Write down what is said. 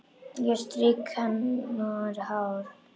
Ég strýk hár hennar.